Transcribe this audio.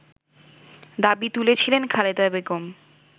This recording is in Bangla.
দাবি তুলেছিলেন খালেদা বেগম